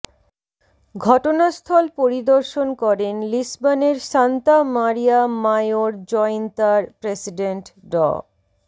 ঘটনাস্থল পরিদর্শন করেন লিসবনের সান্তা মারিয়া মাইওর জইন্তার প্রেসিডেন্ট ড